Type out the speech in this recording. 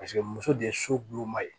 Paseke muso de ye soma ye